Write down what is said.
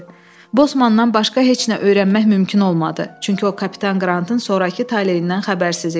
Bosmandan başqa heç nə öyrənmək mümkün olmadı, çünki o kapitan Qrantın sonrakı taleyindən xəbərsiz idi.